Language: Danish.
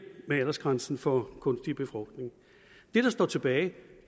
med aldersgrænsen for kunstig befrugtning det der står tilbage